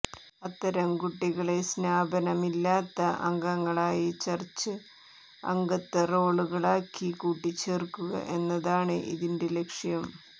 അത്തരം കുട്ടികളെ സ്നാപനമില്ലാത്ത അംഗങ്ങളായി ചർച്ച് അംഗത്വ റോളുകളാക്കി കൂട്ടിച്ചേർക്കുക എന്നതാണ് ഇതിന്റെ ലക്ഷ്യം